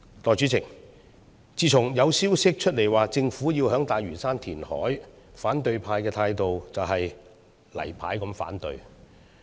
代理主席，自從有消息指出，政府要在大嶼山填海，反對派的態度就是"例牌"反對。